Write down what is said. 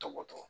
Tɔgɔ dɔn